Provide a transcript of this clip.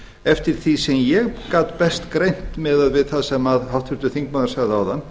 eftir því sem ég gat best greint miðað við það sem háttvirtur þingmaður sagði áðan